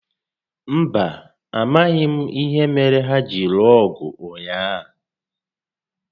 Mba, amaghị m ìhè méré hà jiri lụọ ọgụ ụnyaahụ